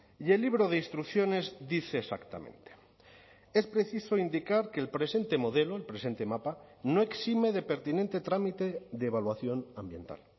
y el libro de instrucciones dice exactamente es preciso indicar que el presente modelo el presente mapa no exime de pertinente trámite de evaluación ambiental